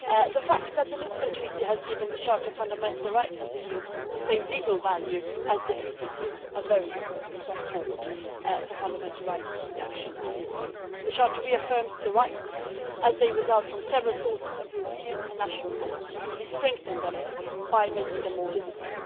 The fact that the Lisbon Treaty has given the Charter of Fundamental Rights of the EU the same legal value as the Treaties is a very important step forward for fundamental rights protection in Europe. The Charter reaffirms the rights as they derive from several sources of European and national law, and it strengthens them by making them more visible.